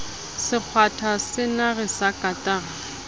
se kgwatha senare sa katara